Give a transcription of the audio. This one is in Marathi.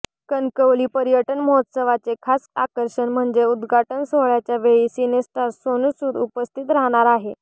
कणकवली पर्यटन महोत्सवाचे खास आकर्षण म्हणजे उद्घाटन सोहळ्याच्या वेळी सिनेस्टार सोनू सूद उपस्थित राहणार आहे